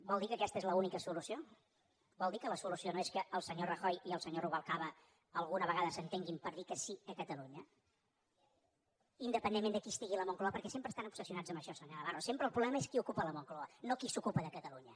vol dir que aquesta és l’única solució vol dir que la solució no és que el senyor rajoy i el senyor rubalcaba alguna vegada s’entenguin per dir que sí a catalunya independentment de qui estigui a la moncloa perquè sempre estan obsessionats amb això senyor navarro sempre el problema és qui ocupa la moncloa no qui s’ocupa de catalunya